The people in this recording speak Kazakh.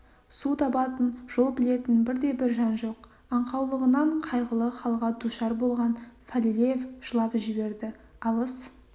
су табатын жол білетін бірде-бір жан жоқ аңқаулығынан қайғылы халға душар болған фалилеев жылап жіберді алыс